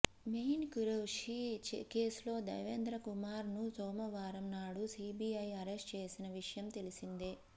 మొయిన్ ఖురేషీ కేసులో దేవేంద్ర కుమార్ ను సోమవారం నాడు సీబీఐ అరెస్ట్ చేసిన విషయం తెలిసిందే